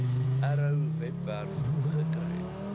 arrow webwerf gekry